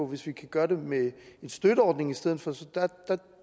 hvis vi kan gøre det med en støtteordning i stedet for så